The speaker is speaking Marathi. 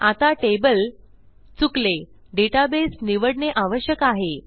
आता टेबल चुकले डेटाबेस निवडणे आवश्यक आहे